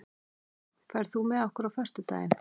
Nóam, ferð þú með okkur á föstudaginn?